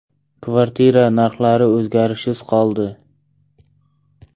kvartira narxlari o‘zgarishsiz qoldi.